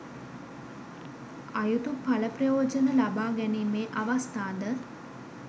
අයුතු පල ප්‍රයෝජන ලබා ගැනීමේ අවස්ථාද